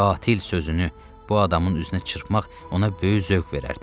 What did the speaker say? Qatil sözünü bu adamın üzünə çırpmaq ona böyük zövq verərdi.